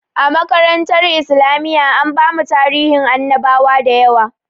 A makarantar islamiyya an bamu tarihin annabawa dayawa